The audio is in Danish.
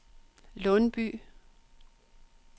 Lundby